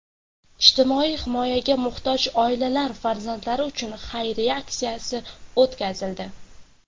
ijtimoiy himoyaga muhtoj oilalar farzandlari uchun xayriya aksiyasi o‘tkazildi.